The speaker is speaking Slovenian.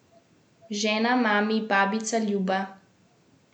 Žena, mami, babica Ljuba.